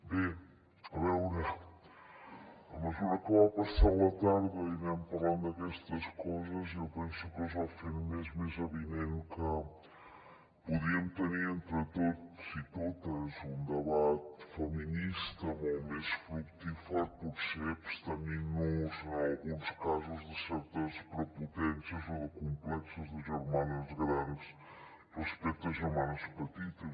bé a veure a mesura que va passant la tarda i anem parlant d’aquestes coses jo penso que es va fent més evident que podríem tenir entre tots i totes un debat feminista molt més fructífer potser abstenint nos en alguns casos de certes prepotències o de complexos de germanes grans respecte a germanes petites